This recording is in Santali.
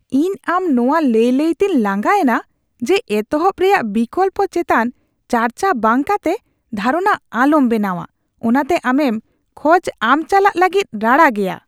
ᱤᱧ ᱟᱢ ᱱᱚᱣᱟ ᱞᱟᱹᱭ ᱞᱟᱹᱭ ᱛᱤᱧ ᱞᱟᱸᱜᱟ ᱮᱱᱟ ᱡᱮ ᱮᱛᱚᱦᱚᱵ ᱨᱮᱭᱟᱜ ᱵᱤᱠᱞᱚᱯᱠᱚ ᱪᱮᱛᱟᱱ ᱪᱟᱨᱪᱟ ᱵᱟᱝ ᱠᱟᱛᱮ ᱫᱷᱟᱨᱚᱱᱟ ᱟᱞᱚᱢ ᱵᱮᱱᱟᱣᱟ, ᱚᱱᱟᱛᱮ ᱟᱢᱮᱢ ᱠᱷᱚᱡ ᱟᱢ ᱪᱟᱞᱟᱜ ᱞᱟᱹᱜᱤᱫ ᱨᱟᱲᱟ ᱜᱮᱭᱟ ᱾ (ᱯᱷᱤᱴᱱᱮᱥ ᱴᱨᱮᱱᱟᱨ)